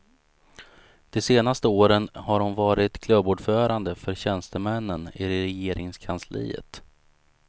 De senaste åren har hon varit klubbordförande för tjänstemännen i regeringskansliet.